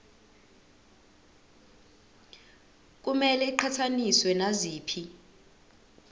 kumele iqhathaniswe naziphi